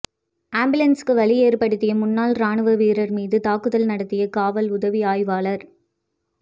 ஆம்புலன்ஸுக்கு வழி ஏற்படுத்திய முன்னாள் ராணுவ வீரர் மீது தாக்குதல் நடத்திய காவல் உதவி ஆய்வாளர்